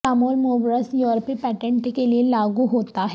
Samuel Moores یورپی patent کے لئے لاگو ہوتا ہے